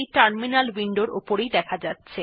এখন এই ত্রুটি টিও টার্মিনাল উইন্ডোর উপর দেখা যাচ্ছে